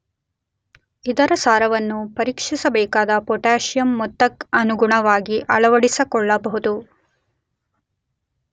ಇದರ ಸಾರವನ್ನು ಪರೀಕ್ಷಿಸಬೇಕಾದ ಪೊಟಾಸಿಯಂ ಮೊತ್ತಕ್ಕನುಗುಣವಾಗಿ ಅಳವಡಿಸಿಕೊಳ್ಳಬಹುದು.